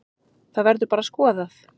Það verður bara skoðað.